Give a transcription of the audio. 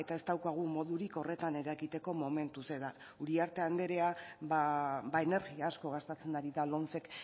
ez daukagu modurik horretan eragiteko momentuz eta uriarte andrea ba energia asko gastatzen ari da lomcek